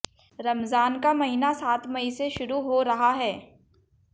रमजान का महीना सात मई से शुरू हो रहा है